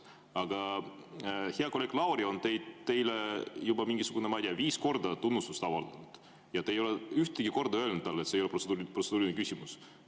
Aga hea kolleeg Lauri on teile juba mingisugune, ma ei tea, viis korda tunnustust avaldanud ja te ei ole ühtegi korda öelnud talle, et see ei ole protseduuriline küsimus.